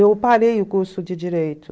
Eu parei o curso de Direito.